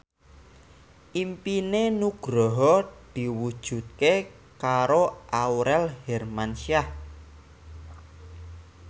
impine Nugroho diwujudke karo Aurel Hermansyah